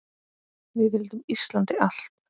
Við vildum Íslandi allt!